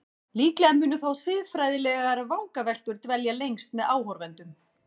Líklega munu þó siðfræðilegar vangaveltur dvelja lengst með áhorfendum.